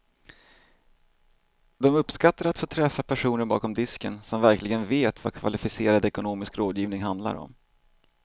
De uppskattar att få träffa personer bakom disken som verkligen vet vad kvalificerad ekonomisk rådgivning handlar om.